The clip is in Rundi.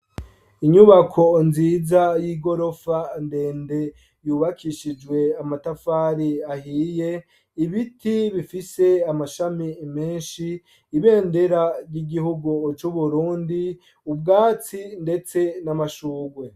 Inyubako nziza yigirofa ndende yubakishijwe amatafari ahiye, ibiti bifise amashami menshi, ibendera ry’igihugu c’uburundi, ubwatsi ndetse namashugwe.